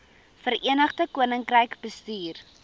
verenigde koninkryk bestuur